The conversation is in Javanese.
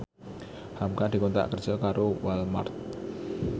hamka dikontrak kerja karo Walmart